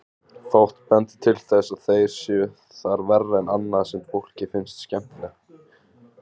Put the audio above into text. Fátt bendir til þess að þeir séu þar verri en annað sem fólki finnst skemmtilegt.